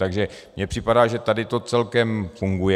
Takže mně připadá, že tady to celkem funguje.